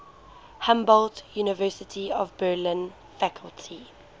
humboldt university of berlin faculty